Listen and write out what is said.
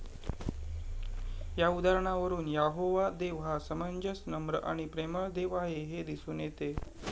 या उदाहरणावरून यहोवा देव हा समंजस, नम्र आणि प्रेमळ देव आहे हे दिसून येतं.